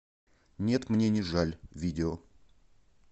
нет мне не жаль видео